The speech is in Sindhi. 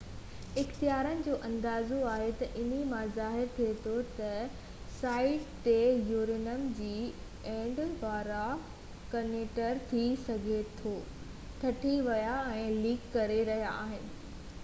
اختيارين جو اندازو آهي ته انهي مان ظاهر ٿئي ٿو ته سائيٽ تي يورينيم جي ايندڻ وارا ڪنٽينر ٿي سگهي ٿو ٽٽي ويا آهن ۽ ليڪ ڪري رهيا آهن